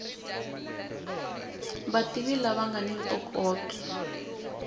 vativi lava nga ni ntokoto